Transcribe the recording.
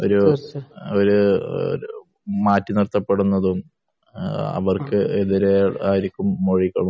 ഒരു ഒരു മാറ്റി നിർത്തപ്പെടുന്നതും അവർക്ക് എതിരെ ആരും മൊഴി